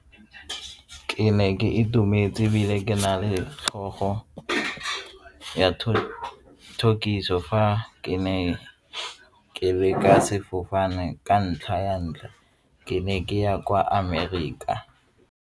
Ke ne ke itumetse ebile ke na le tlhogo ya fa ke ne ke leka sefofane ka ntlha ya ntlha ke ne ke ya kwa Amerika.